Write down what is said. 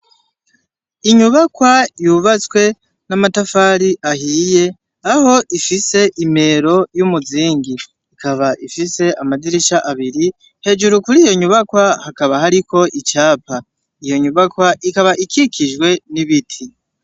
Inyubakwa yubatswe n'amatafari ahiye, aho zifise imero y'umuzingi. Ikaba ifise amadirisha abiri. Hejuru kuri iyo nyubakwa hakaba hariko icapa. Iyo nyubakwa ikaba ikikijwe n'ibiti.